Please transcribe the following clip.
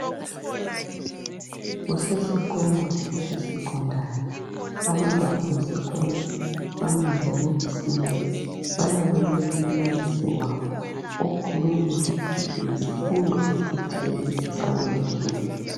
kusesikolo esecondary abantwana besikolo bamile ku assembly balalele umbalisi wabo ukhuluma ngesifundo esithile salelo suku.